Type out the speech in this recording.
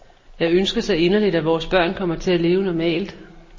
Jeg ønsker så inderligt, at vores børn kommer til at leve normalt.